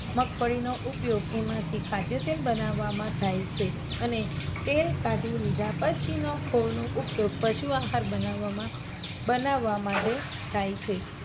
મગફળીનો ઉપયોગનો એમાંથી ખાધ્ય તેલ બનાવવામાં થાય છે અને તે કાઢી લિધા પછીના ખોળનો ઉપયોગ પશુ આહાર બનાવવામાં, બનાવવા માટે થાય છે.